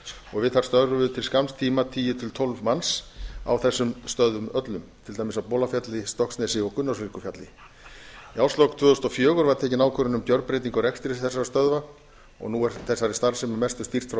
og við þær störfuðu til skamms tíma tíu til tólf manns á þessum stöðvum öllum til dæmis á bolafjalli stokksnesi og gunnólfsvíkurfjalli við árslok tvö þúsund og fjögur var tekin ákvörðun um gjörbreytingu á rekstri þessara stöðva og nú er þessari starfsemi að mestu stýrt frá